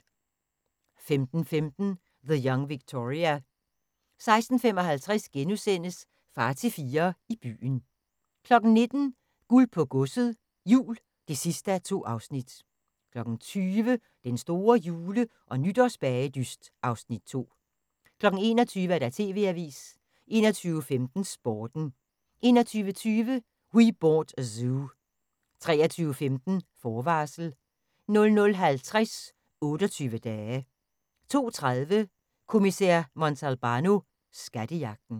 15:15: The Young Victoria 16:55: Far til fire i byen * 19:00: Guld på godset, jul (2:2) 20:00: Den store jule- og nytårsbagedyst (Afs. 2) 21:00: TV-avisen 21:15: Sporten 21:20: We Bought a Zoo 23:15: Forvarsel 00:50: 28 Dage 02:30: Kommissær Montalbano: Skattejagten